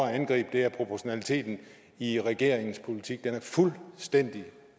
angribe er proportionaliteten i regeringens politik den er fuldstændig